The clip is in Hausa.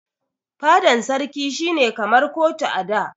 Fadan sarki shi ne kamar kotu a da.